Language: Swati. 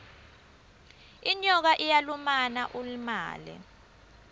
inyoka iyalumana ulimale